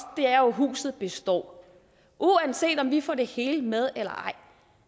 er jo at huset består uanset om vi får det hele med eller ej